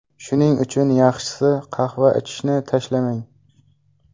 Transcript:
Shuning uchun yaxshisi, qahva ichishni tashlamang.